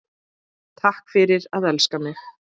Takk fyrir að elska mig.